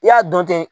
I y'a dɔn ten